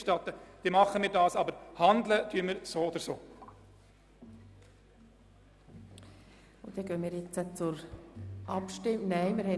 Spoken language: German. Wenn Sie dies wünschen, wird der Regierungsrat dies tun, aber handeln wird er so oder so.